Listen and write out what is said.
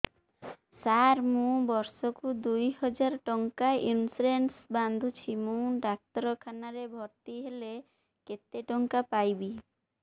ସାର ମୁ ବର୍ଷ କୁ ଦୁଇ ହଜାର ଟଙ୍କା ଇନ୍ସୁରେନ୍ସ ବାନ୍ଧୁଛି ମୁ ଡାକ୍ତରଖାନା ରେ ଭର୍ତ୍ତିହେଲେ କେତେଟଙ୍କା ପାଇବି